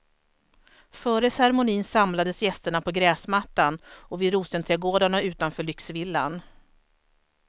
Före cermonin samlades gästerna på gräsmattan och vid rosenträdgårdarna utanför lyxvillan.